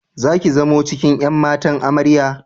Zaki zamo cikin ƴan matan Amarya?